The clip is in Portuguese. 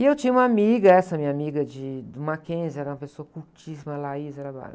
E eu tinha uma amiga, essa minha amiga de, do Mackenzie, era uma pessoa cultíssima, a era bárbara.